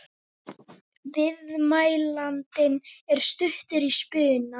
Viðmælandinn er stuttur í spuna.